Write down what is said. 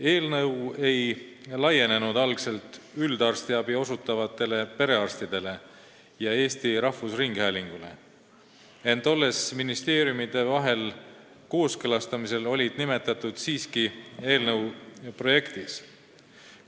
Eelnõu ei laienenud algselt üldarstiabi osutavatele perearstidele ja Eesti Rahvusringhäälingule, ent ministeeriumide vahel kooskõlastamise järel neid eelnõus siiski nimetatakse.